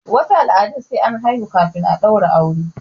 wasu al'adun sai an haihu kafin a daura aure